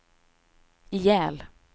ihjäl